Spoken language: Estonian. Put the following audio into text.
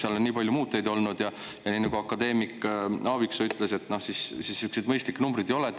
Seal on nii palju muutujaid olnud ja nagu akadeemik Aaviksoo ütles, sihukesi mõistlikke numbreid ei ole.